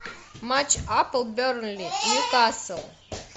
матч апл бернли ньюкасл